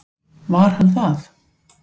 Var hann það?